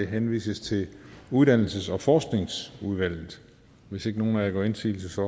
henvises til uddannelses og forskningsudvalget hvis ikke nogen af jer gør indsigelse